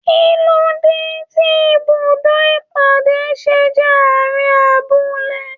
Kilode tí ibùdó ìpàdé ṣe jẹ àárín abúlé?